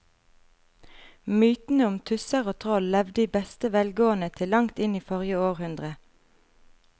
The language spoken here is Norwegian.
Mytene om tusser og troll levde i beste velgående til langt inn i forrige århundre.